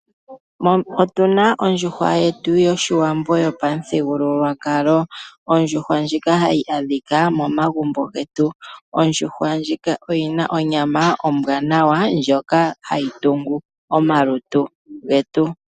Otuna ondjuhwa yetu yopamuthigululwakalo gwoshiwambo, Ondjuhwa ndjika ha yi adhika momagumbo getu. Ondjuhwa ndjika oyina onyama ombwanawa ndjoka hayi tungu omalutu getu.